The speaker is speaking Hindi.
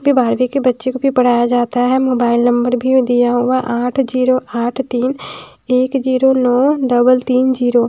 --पे बारहवीं के बच्चे को भी पढ़ाया जाता है मोबाइल नंबर भी दिया हुआ है आठ ज़ीरो आठ तीन एक ज़ीरो नौ डबल तीन ज़ीरो ।